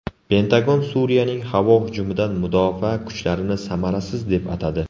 Pentagon Suriyaning havo hujumidan mudofaa kuchlarini samarasiz deb atadi.